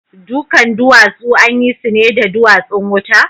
Dukan duwatsu an yi su ne da duwatsun wuta?